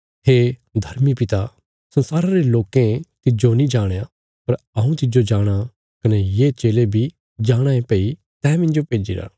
हे धर्मी पिता संसारा रे लोकें तिज्जो नीं जाणया पर हऊँ तिज्जो जाणाँ कने ये चेले बी जाणाँ ये भई तैं मिन्जो भेज्जिरा